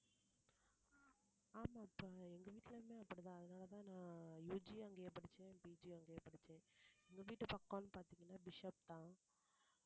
ஆமா இப்ப எங்க வீட்டுலயுமே அப்படித்தான் அதனாலதான் நான் UG யும் அங்கேயே படிச்சேன் PG யும் அங்கேயே படிச்சேன் எங்க வீட்டு பக்கம் பார்த்தீங்கன்னா பிஷப்தான்